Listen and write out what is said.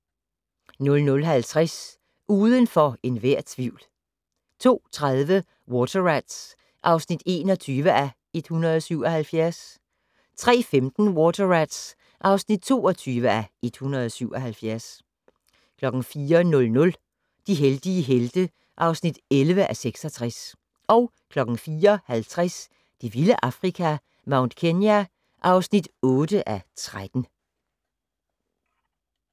00:50: Uden for enhver tvivl 02:30: Water Rats (21:177) 03:15: Water Rats (22:177) 04:00: De heldige helte (11:66) 04:50: Det vilde Afrika - Mount Kenya (8:13)